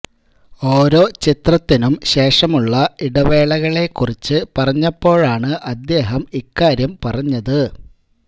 ഓരോ ചിത്രത്തിനും ശേഷമുള്ള ഇടവേളകളെ കുറിച്ച് പറഞ്ഞപ്പോഴാണ് അദ്ദേഹം ഇക്കാര്യം പറഞ്ഞത്